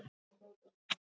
Amma var ströng á svip.